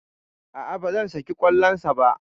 A'a, ba zan sake kallon sa ba.